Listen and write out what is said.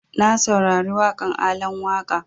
Na saurari waƙan Alan Waƙa